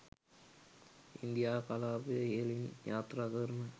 India කලාපය ඉහළින් යාත්‍රාකරන